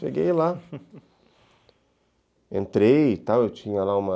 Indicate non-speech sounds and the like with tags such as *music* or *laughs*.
Cheguei lá, *laughs* entrei e tal, eu tinha lá uma...